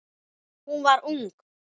Hún var ung.